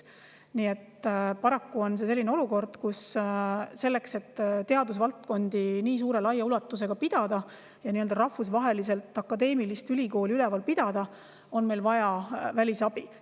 Nii et paraku on olukord selline, kus selleks, et nii suure ulatusega teadusvaldkondi ja rahvusvahelist akadeemilist ülikooli üleval pidada, on meil vaja välisabi.